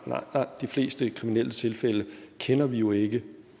de fleste tilfælde kender vi jo ikke